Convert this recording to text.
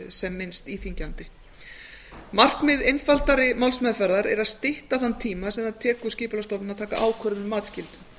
sem minnst íþyngjandi markmið einfaldari málsmeðferðar er að stytta þann tíma sem það tekur skipulagsstofnun að taka ákvörðun um matsskyldu